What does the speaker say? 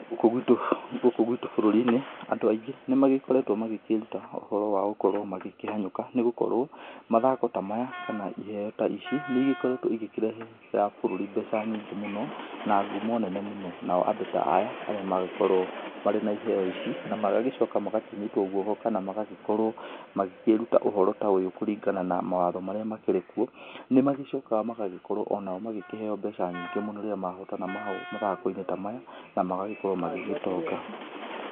Gũkũ gwitũ, gũkũ gwitũ bũrũrinĩ, Andũ aingĩ nĩmagĩkoretwo, magĩgĩkĩruta ũhoro wa gũkorwo magĩkĩhanyũka. Nĩgũkorwo, mathako ta maya, kana iheo ta ici, nĩigĩkoretwo igĩkĩrehera bũrũri mbeca nyingĩ mũno, na ngumo nene mũno. Nao Andũ ta aya, arĩa magĩkorwo marĩ na iheo ici, na magagĩcoka magagĩkĩnyitwo guoko, kana magagĩkorwo magĩkĩruta ũhoro ta ũyũ kũringana na mawatho marĩa makĩrĩ kuo. Nĩmagĩcokaga magagĩkorwo o nao magĩkĩheo mbeca nyingĩ mũno rĩrĩa mahotana mathako-inĩ ta maya, na magagĩkorwo magĩgĩtonga.